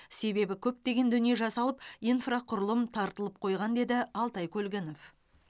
себебі көптеген дүние жасалып инфрақұрылым тартылып қойылған деді алтай көлгінов